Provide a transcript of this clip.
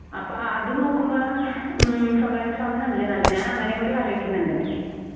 അപ്പ അതു നോക്കുമ്പാഹ് ഉം സ്വകാര്യ സ്ഥാപനം അല്ലെ നല്ലത്. ഞാൻ അങ്ങനേംകൂടി ആലോയിക്കുന്നുണ്ട്.